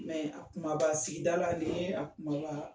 Mɛ a kumaba sigida la nin ye a kumaba